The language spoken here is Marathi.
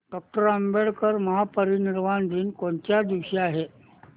डॉक्टर आंबेडकर महापरिनिर्वाण दिन कोणत्या दिवशी आहे